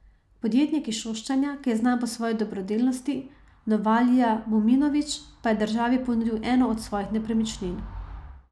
Podjetnik iz Šoštanja, ki je znan po svoji dobrodelnosti, Novalija Muminović, pa je državi ponudil eno od svojih nepremičnin.